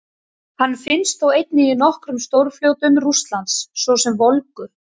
Hann finnst þó einnig í nokkrum stórfljótum Rússlands, svo sem Volgu.